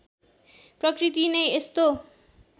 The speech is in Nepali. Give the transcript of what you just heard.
प्रकृति नै यस्तो